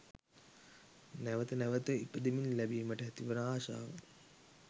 නැවැත නැවැත ඉපදෙමින් ලැබීමට ඇතිවන ආශාව